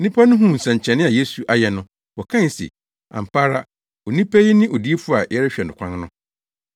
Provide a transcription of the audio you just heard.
Nnipa no huu nsɛnkyerɛnne a Yesu ayɛ no, wɔkae se, “Ampa ara, onipa yi ne odiyifo a yɛrehwɛ no kwan no.”